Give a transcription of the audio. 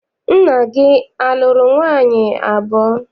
Nna gị a lụrụ nwaanyị abụọ?